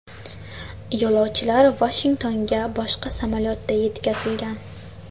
Yo‘lovchilar Vashingtonga boshqa samolyotda yetkazilgan.